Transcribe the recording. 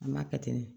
An b'a kɛ ten ne